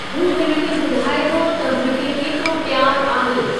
हू हिन खे ॿुधाए थो त हुन खे केतिरो प्यार आहे।